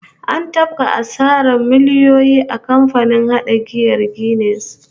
An tafka asarar miliyoyi a kamfanin hada giyar Guinness